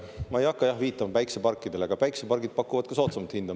Ma ei hakka jah viitama päikseparkidele, aga päiksepargid pakuvad ka soodsamat hinda.